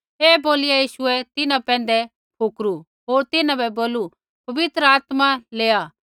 ऐ बोलिया यीशुऐ तिन्हां पैंधै फुकरू होर तिन्हां बै बोलू पवित्र आत्मा लैआ